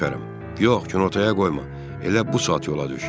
Yox, günortaya qoyma, elə bu saat yola düş.